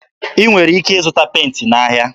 Ị nwere ike ịzụta penti n'ahịa.